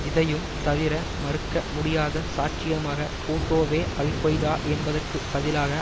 இதையும் தவிர மறுக்க முடியாத சாட்சியமாக பூட்டோவே அல் கொய்தா என்பதற்கு பதிலாக